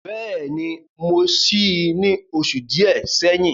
Bẹ́ẹ̀ni, mo sí í ní oṣù díẹ̀ sẹ́yìn.